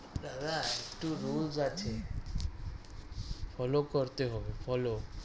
দাদা একটু rules আছে follow করতে হবে follow